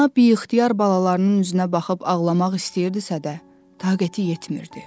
Ana biixtiyar balalarının üzünə baxıb ağlamaq istəyirdisə də, taqəti yetmirdi.